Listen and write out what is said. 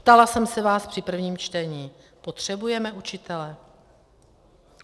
Ptala jsem se vás při prvním čtení: potřebujeme učitele?